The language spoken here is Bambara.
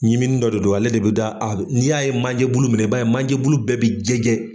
Ɲimini dɔ de don, ale de bɛ da a n'i y'a ye manje bulu mina i b'a ye manje bulu bɛɛ bɛ jɛjɛ.